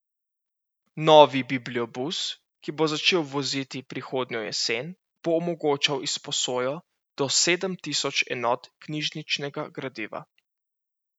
Novi bibliobus, ki bo začel voziti prihodnjo jesen, bo omogočal izposojo do sedem tisoč enot knjižničnega gradiva.